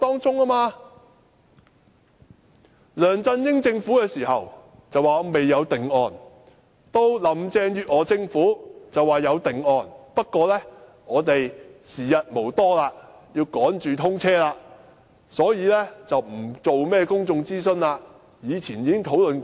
在梁振英政府時期，政府表示未有定案；到了林鄭月娥政府便說有定案，不過時日無多，要趕着通車，所以不進行公眾諮詢，況且以前已經討論過。